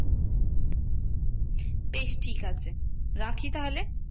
বেশ ঠিক আছে। রাখি তাহলে?